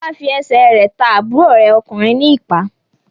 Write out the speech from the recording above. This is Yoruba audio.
Fọlá fi ẹsẹ̀ rẹ̀ ta àbúrò rẹ̀ ọkùnrin ní ìpá.